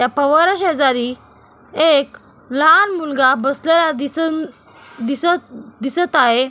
या फवाऱ्या शेजारी एक लहान मुलगा बसलेला दिसून दिसत दिसत आहे.